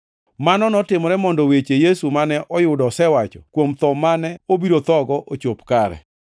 Mano notimore mondo weche Yesu mane oyudo osewacho kuom tho mane obiro thogo ochop kare.